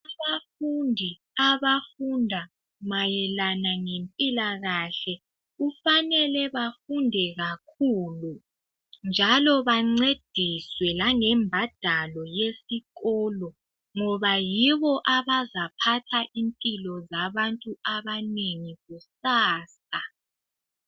Abafundi abafunda mayelana ngempilakahle. Kufanele bafunde kakhulu, njalo bancediswe langembadalo yesikolo. Ngoba yibo abazaphatha impilo zabantu abanengi kusasa.